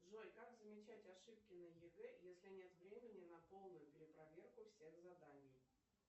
джой как замечать ошибки на егэ если нет времени на полную перепроверку всех заданий